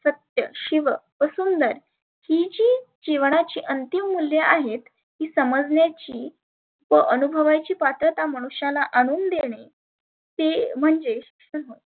शिव व सुंदर ही जी जिवनाची अंतीम मुल्य आहेत ती समजण्याची व अनुभवायची पात्रता मनुष्याला आनुन देणे ते म्हणजे शिक्षण होत.